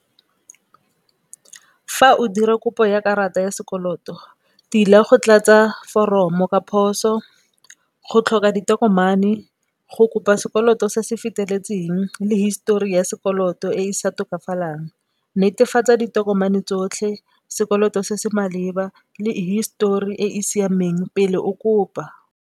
Fa o dira kopo ya karata ya sekoloto tila go tlatsa foromo ka phoso, go tlhoka ditokomane, go kopa sekoloto se se feteletseng le histori ya sekoloto e e sa tokafalang netefatsa ditokomane tsotlhe, sekoloto se se maleba le histori e e siameng pele o kopa.